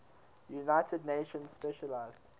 united nations specialized